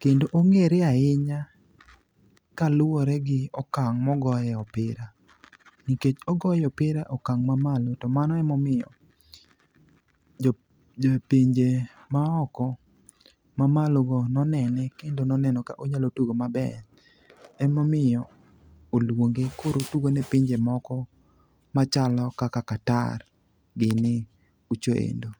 kendo ong'ere ahinya kaluwore gi okang' mogoye opira, nikech ogoyo opira e okang' mamalo to mano emomiyo jopinje maoko, mamalogo nonene kendo noneno ka onyalo tugo maber, emomiyo olwonge koro otugo ne pinje moko machalo kaka Qatar gini kucho endo.